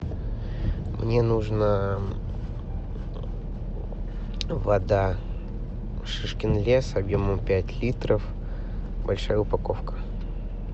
мне нужно вода шишкин лес объемом пять литров большая упаковка